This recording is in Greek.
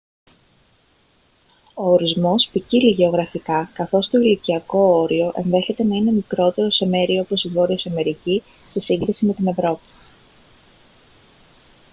ο ορισμός ποικίλει γεωγραφικά καθώς το ηλικιακό όριο ενδέχεται να είναι μικρότερο σε μέρη όπως η βόρειος αμερική σε σύγκριση με την ευρώπη